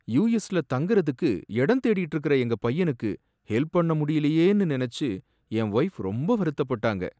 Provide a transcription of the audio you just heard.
யு.எஸ்ல தங்குறதுக்கு இடம் தேடிட்டு இருக்கிற எங்க பையனுக்கு ஹெல்ப்பண்ண முடியலையேன்னு நனைச்சி என் வைஃப் ரொம்ப வருத்தப்பட்டாங்க.